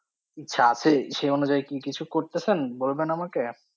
ইচ্ছা আছে? সেই অনুযায়ী কি কিছু করতাছেন? বলবেন আমাকে?